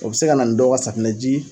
O bɛ se ka na ni dɔ ka safinɛji